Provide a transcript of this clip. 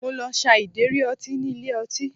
Mo lọ sa ìdérí ọtí ní ilé ọtí